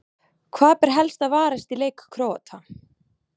Hvað ber helst að varast í leik Króata?